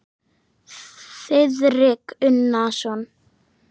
Þiðrik Unason.